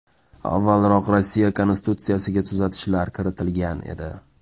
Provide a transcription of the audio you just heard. Avvalroq Rossiya Konstitutsiyasiga tuzatishlar kiritilgan edi.